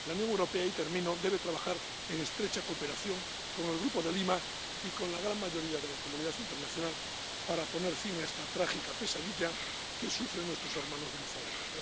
La Unión Europea —y termino— debe trabajar en estrecha cooperación con el Grupo de Lima y con la gran mayoría de la comunidad internacional para poner fin a esta trágica pesadilla que sufren nuestros hermanos venezolanos.